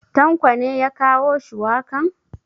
Tanko ne ya kawo shuwakan?